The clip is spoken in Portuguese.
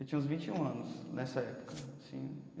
Eu tinha uns vinte e um anos nessa época, assim né.